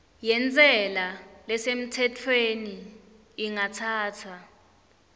yentsela lesemtsetfweni ingatsatsa